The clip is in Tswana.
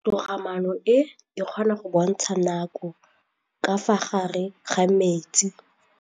Toga-maanô e, e kgona go bontsha nakô ka fa gare ga metsi.